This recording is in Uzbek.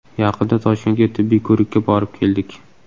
Yaqinda Toshkentga tibbiy ko‘rikka borib keldik.